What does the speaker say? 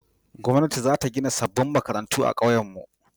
gwamnati za ta gina sabon makaranta a kauyen mu